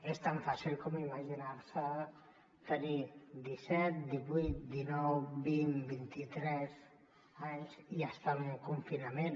és tan fàcil com imaginar se tenir disset divuit dinou vint vint i tres anys i estar en un confinament